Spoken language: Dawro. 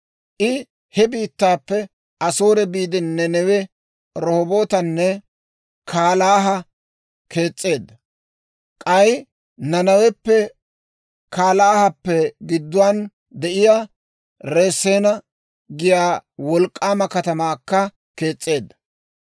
I he biittaappe Asoore biide, Nenewe, Rohobootanne Kaalaha kees's'eedda; k'ay Nanaweppenne Kaalaahappe gidduwaan de'iyaa Reseena giyaa wolk'k'aama katamaakka kees's'eedda.